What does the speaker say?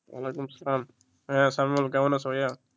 ওয়ালাইকুম আসসালাম, কেমন আছো ভাইয়া?